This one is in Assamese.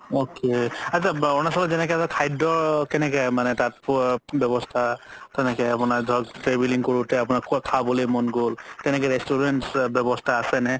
okay আত্চা আৰুণাচলৰ যেনেকে এটা খাদ্য মানে কেনেকে তাত ব্যবস্থা তেনেকে আপুনাৰ ধৰক traveling কৰোতে খাবলে মন গ'ল তেনেকে restaurants ব্যবস্থা আছে নে